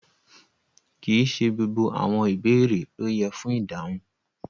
Kí íṣẹ̀ gbogbo àwọn ìbẹ̀rẹ̀ lo yẹ́ fún idáhùn.